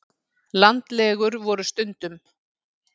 Landlegur voru stundum.